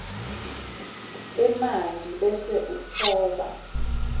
emanti bese utfoba